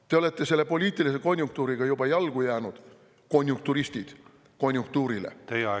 Te olete poliitilise konjunktuuriga juba ajale jalgu jäänud, konjunkturistid, konjunktuurile jalgu jäänud.